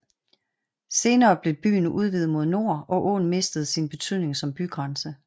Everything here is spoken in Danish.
Senere blev byen udvidet mod nord og åen mistede sin betydning som bygrænse